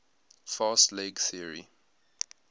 fast leg theory